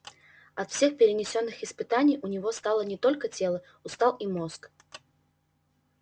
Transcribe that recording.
от всех перенесённых испытаний у него устало не только тело устал и мозг